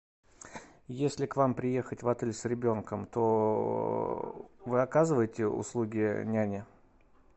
если к вам приехать в отель с ребенком то вы оказываете услуги няни